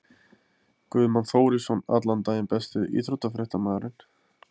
Guðmann Þórisson allan daginn Besti íþróttafréttamaðurinn?